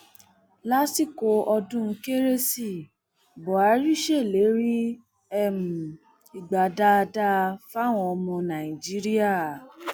lásìkò ọdún kérésì buhari ṣèlérí um ìgbà dáadáa fáwọn ọmọ nàìjíríà